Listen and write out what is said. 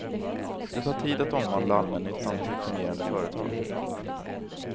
Det tar tid att omvandla allmännyttan till fungerande företag.